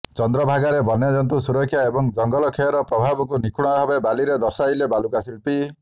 ଚନ୍ଦ୍ରଭାଗାରେ ବନ୍ୟଜନ୍ତୁ ସୁରକ୍ଷା ଏବଂ ଜଙ୍ଗଲ କ୍ଷୟର ପ୍ରଭାବକୁ ନିଖୁଣ ଭାବେ ବାଲିରେ ଦର୍ଶାଇଲେ ବାଲୁକା ଶିଳ୍ପୀ